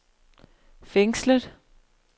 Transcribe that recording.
fængslet